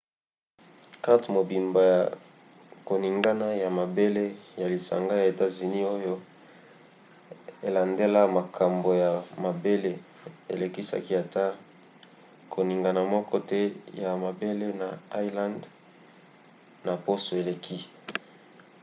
karte mobimba ya koningana ya mabele ya lisanga ya etats-unis oyo elandelaka makambo ya mabele elakisaki ata koningana moko te ya mabele na islande na poso eleki